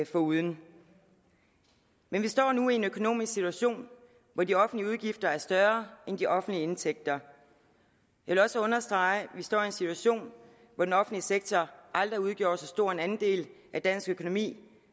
foruden men vi står nu i en økonomisk situation hvor de offentlige udgifter er større end de offentlige indtægter jeg vil også understrege at vi står i en situation hvor den offentlige sektor aldrig har udgjort så stor en andel af dansk økonomi